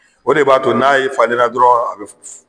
O de b'a to n'ale falen la dɔrɔn a be